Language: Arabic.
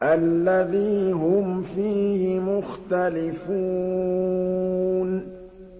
الَّذِي هُمْ فِيهِ مُخْتَلِفُونَ